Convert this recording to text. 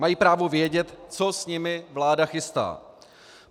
Mají právo vědět, co s nimi vláda chystá.